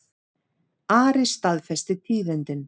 Ari staðfesti tíðindin.